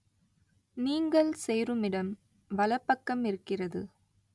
நீங்கள் சேருமிடம் வலப்பக்கமிருக்கிறது.